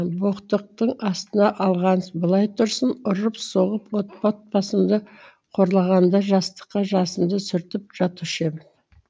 боқтықтың астына алғаны былай тұрсын ұрып соғып от отбасымды қорлағанда жастыққа жасымды сүртіп жатушы ем